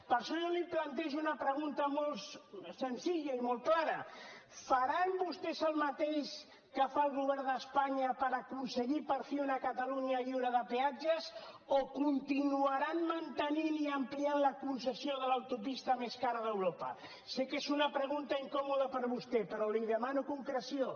per això jo li plantejo una pregunta molt senzilla i molt clara faran vostès el mateix que fa el govern d’espanya per aconseguir per fi una catalunya lliure de peatges o continuaran mantenint i ampliant la concessió de l’autopista més cara d’europa sé que és una pregunta incòmoda per a vostè però li demano concreció